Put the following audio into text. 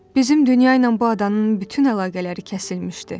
Bizim dünya ilə bu adanın bütün əlaqələri kəsilmişdi.